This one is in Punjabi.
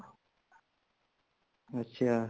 ਅੱਛਾ